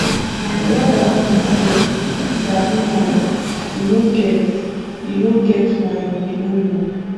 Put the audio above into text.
my broda own be say he sabi wine e no get e no get wine he no know